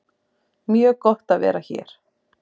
Mjög gott að vera hér